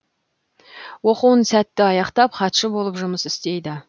оқуын сәтті аяқтап хатшы болып жұмыс істейді